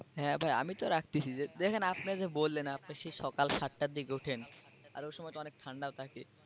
হ্যাঁ ভাই আমিতো রাখতেছি দেখেন আপনি যে বললেন আপনি সেই সকাল সাতটার দিকে ওঠেন আর ওই সময় তো অনেক ঠান্ডা থাকে।